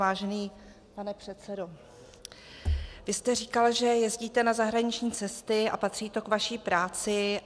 Vážený pane předsedo, vy jste říkal, že jezdíte na zahraniční cesty a patří to k vaší práci.